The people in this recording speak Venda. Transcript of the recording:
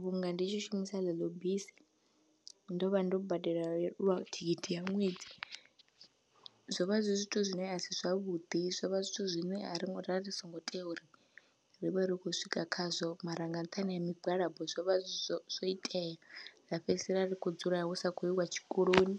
vhunga ndi tshi shumisa ḽeḽo bisi ndo vha ndo badela lwa thikhithi ya ṅwedzi. Zwo vha zwi zwithu zwine a si zwavhuḓi, zwo vha zwithu zwine ari, ra ri songo tea uri ri vhe ri khou swika khazwo mara nga nṱhani ha migwalabo zwo vha zwo itea ra fhedzisela ri khou dzula hu sa khou iwa tshikoloni.